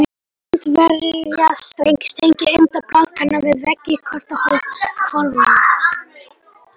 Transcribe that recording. Bandvefjarstrengir tengja enda blaðkanna við veggi hjartahvolfanna.